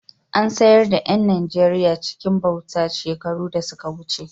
An sayar da ’yan Najeriya cikin bauta shekaru da suka wuce.